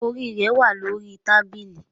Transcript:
Your headgear is on the table